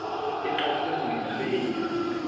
e qadile ho o tshwenya